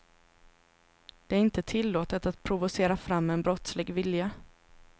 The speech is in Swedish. Det är inte tillåtet att provocera fram en brottslig vilja.